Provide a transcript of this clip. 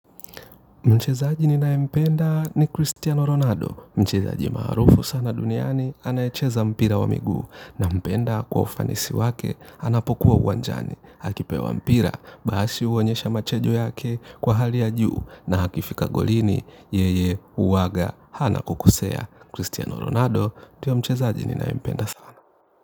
Mchezaji ninayempenda ni Cristiano Ronaldo. Mchezaji maarufu sana duniani anayecheza mpira wa miguu. Nampenda kwa ufanisi wake anapokuwa uwanjani. Akipewa mpira basi huonyesha machajo yake kwa hali ya juu na akifika golini yeye huwanga hana kukosea. Cristiano Ronaldo ndiye mchezaji ninayempenda sana.